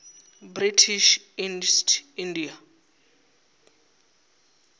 british east india